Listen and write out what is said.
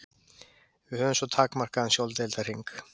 Við höfum svo takmarkaðan sjóndeildarhring.